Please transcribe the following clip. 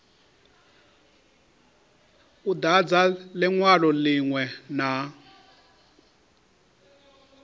u dadza linwalo linwe na